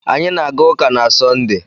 Anyị na-aga ụka na Sọnde.